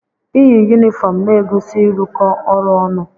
Iyi yunifọọm na-egosi ịrụkọ ọrụ ọnụ.